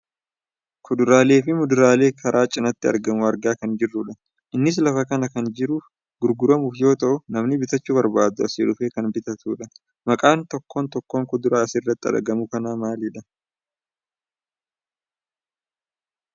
Kuduraalee fi muduraalee karaa cinaatti argamu argaa kan jirrudha. Innis lafa kana kan jiruuf gurguramuuf yoo ta'u namni bitachuu barbaadu asii dhufee kan bitatudha. Maqaan tokkoon tokkoon kuduraa asirratti argamu kanaa maalidha?